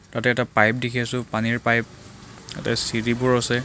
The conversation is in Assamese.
তাতে এটা পাইপ দেখি আছোঁ পানীৰ পাইপ তাতে চিৰিবোৰ আছে।